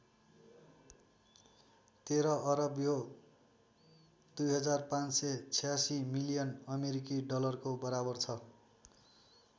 १३ अरब यो २५८६ मिलियन अमेरिकी डलरको बराबर छ।